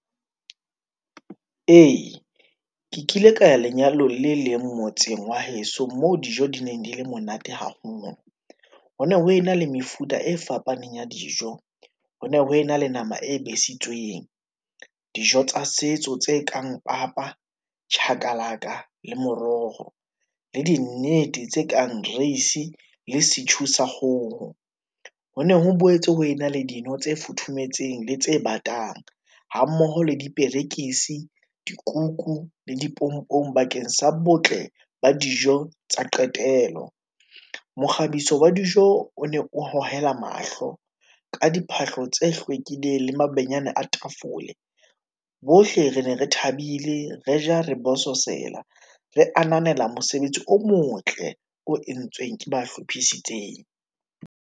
Ee, ke kile ka ya lenyalong le leng motseng wa heso moo dijo di neng di le monate haholo. Ho ne ho ena le mefuta e fapaneng ya dijo. Ho ne ho ena le nama e besitsweng, dijo tsa setso tse kang papa, chakalaka le moroho le di nnete tse kang reise le setjhu sa kgoho. Ho ne ho boetse ho ena le dino tse futhumetseng le tse batang hammoho le diperekisi, dikuku le dipompong bakeng sa botle ba dijo tsa qetelo. Mokgabiso wa dijo o ne o hohela mahlo ka diphahlo tse hlwekileng le mabenyane a tafole. Bohle re ne re thabile, re ja re bososela re ananela mosebetsi o motle, o entsweng ke ba hlophisitseng.